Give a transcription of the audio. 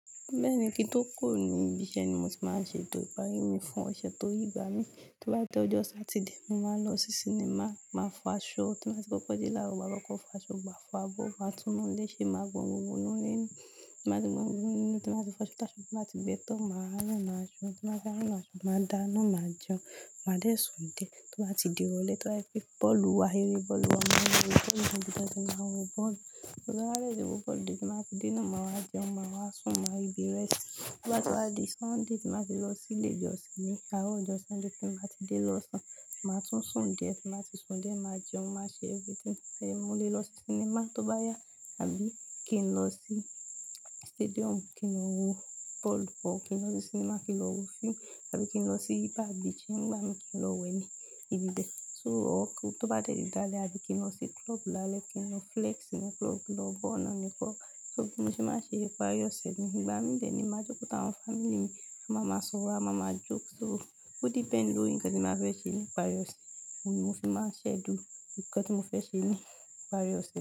Bẹ́ẹ̀ni kí n tó kó ni, ìbí iṣẹ́ ni mo ti máa ń ṣe tó ìparí mi fún ọ̀sẹ̀ tó yígbà mí. Tí mo bá ti dé ọjọ́ Saturday, mo máa lọ sí cinema máa fọ aṣọ. Tí mo bá ti kọ́kọ́ dé lára maa kọkọ̀ fọ aṣọ, maa fá bọ, máa tún inu ile ṣe, máa gbọn gbogbo ínú ile. Tí mo bá ti gbọn gbogbo nínú, tí mo bá ti fọ aṣọ, tá aṣọ, tí mo bá ti bẹ́ tọ́, màá rán an máa ṣọ. Tí mo bá ti rán an máa ṣọ, màá dáná máa jẹun, máa dé Sun die. Tí bá ti di irọlé tí ba je pe bọ́ọ̀lù wá, err bọ́ọ̀lù wá, màá lo wo bọ́ọ̀lù. To ri maa wo bọ́ọ̀lù dé tí mo bá ti dé náà, màá jẹun, màá wá sùn, màá rí bí rest. Tí mo bá ti wá di Sunday, tí mo bá ti lọ sí ilé ìjọsìn ni, aro ojo Sunday tí mo bá ti dé lọ̀sán, màá tún die, tí mo bá ti su die màá jẹun, màá ṣe everything. Mo lè lọ sí cinema tó bá yá àbí kí n lọ sí stadium kí n lo wo bọ́ọ̀lù or kí n lọ sí cinema kí n lọ wo fíìmù àbí kí n lọ sí bar beach nígbà mí kí n lọ wẹ ní ibi bẹ̀. So tọ́ bá dẹ̀ dáálẹ̀ àbí kí n lọ sí club lálẹ́ kí n lọ flex ní club lọ bọ́ ọ̀nà nìkan. So bí mo ṣe máa ṣe ìparí ọ̀sẹ̀ mi. Ìgbà mí de ni, màá jókòó táwọn family mi, a máa máa sọ̀rọ̀, a máa máa joke. So ó depend lóri ǹkan tí ba fẹ́ ṣe ní ìparí ọ̀sẹ̀ mi, o ni mo sì máa schedule ǹkan tí mo fẹ́ ṣe ní ìparí ọ̀sẹ̀ mi.